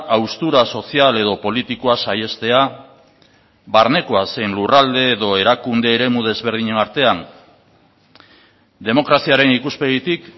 haustura sozial edo politikoa saihestea barnekoa zein lurralde edo erakunde eremu desberdinen artean demokraziaren ikuspegitik